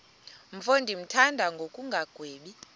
mfo ndimthanda ngokungagwebi